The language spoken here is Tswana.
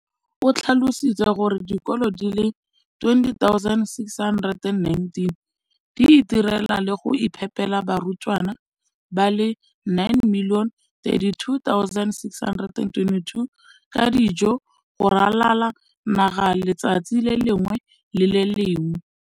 o tlhalositse gore dikolo di le 20 619 di itirela le go iphepela barutwana ba le 9 032 622 ka dijo go ralala naga letsatsi le lengwe le le lengwe.